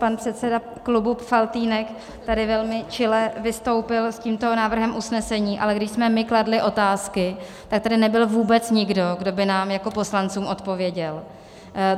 Pan předseda klubu Faltýnek tady velmi čile vystoupil s tímto návrhem usnesení, ale když my jsme kladli otázky, tak tady nebyl vůbec nikdo, kdo by nám jako poslancům odpověděl.